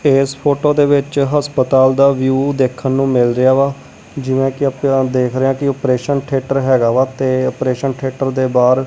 ਇਸ ਫ਼ੋਟੋ ਦੇ ਵਿੱਚ ਹਸਪਤਾਲ ਦਾ ਵਿਊ ਦੇਖਣ ਨੂੰ ਮਿਲ ਰਿਹਾ ਵਾ ਜਿਵੇਂ ਕਿ ਦੇਖ ਰਹੇ ਹਾਂ ਕਿ ਔਪਰੇਸ਼ਨ ਥੀਏਟਰ ਹੈਗਾ ਵਾ ਤੇ ਔਪਰੇਸ਼ਨ ਥੀਏਟਰ ਦੇ ਬਾਹਰ --